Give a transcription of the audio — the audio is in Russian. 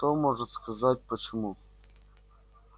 кто может сказать почему